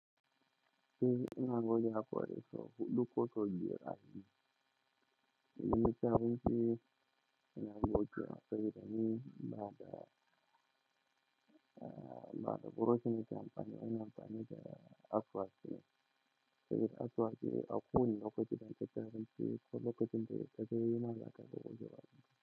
Eh, ina goge haƙori so huɗu koso biyar a yini. Idan naci abinci ina gogewa sabodani bada, eh, bada buroshin na an bani. Ina amfani da asuwaki, saboda da asuwaki ba kowani lokacine idan kaci abinci ko lokacin dakaga dama zaka goge bq.